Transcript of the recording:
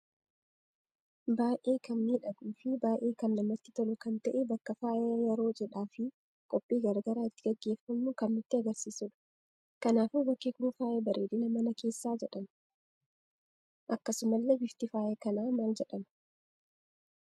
Baay'ee kan miidhaguu fi baay'ee kan namatti tolu kan ta'e bakka faaya yeroo cidhaa fi qophii garaagara itti geggeeffamu kan nutti agarsiisudha. Kanaafuu bakki kun faayaa bareedina mana keessa jedhama. Akkasumalle bifti faayaa kana mal jedhama?